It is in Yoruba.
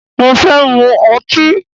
Mo fẹ́ mu ọtí.